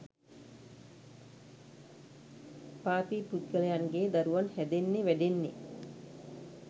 පාපී පුද්ගලයන්ගේ දරුවන් හැදෙන්නෙ වැඩෙන්නෙ